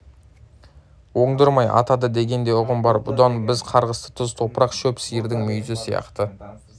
оңдырмай атады деген де ұғым бар бұдан біз қарғысты тұз топырақ шөп сиырдың мүйізі сияқты